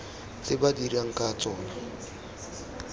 tse ba dirang ka tsona